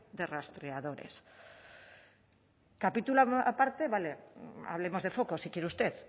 de rastreadores capítulo aparte vale hablemos de focos si quiere usted